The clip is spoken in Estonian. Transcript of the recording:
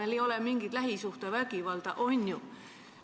Meil ei ole mingit lähisuhtevägivalda, on ju?